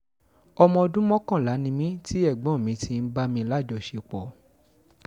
ọmọ ọdún mọ́kànlá ni mí tí ẹ̀gbọ́n mi ti ń bá mi lájọṣepọ̀